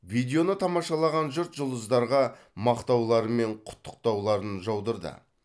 видеоны тамашалаған жұрт жұлдыздарға мақтаулары мен құттықтауларын жаудырды